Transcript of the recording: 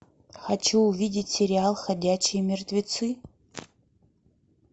хочу увидеть сериал ходячие мертвецы